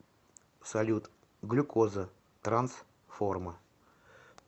салют глюкоза транс форма